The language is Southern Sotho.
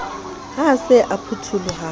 ha se a phutholoha ho